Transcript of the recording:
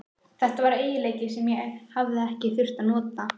Þetta var eiginleiki sem ég hafði ekki þurft að nota.